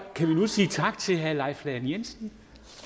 kan vi nu sige tak til herre leif lahn jensen